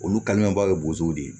Olu kalimanbaw ye bozow de ye